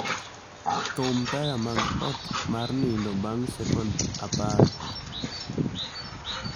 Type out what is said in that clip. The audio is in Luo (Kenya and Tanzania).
thum taya mag ot mar nindo bang' sekon apar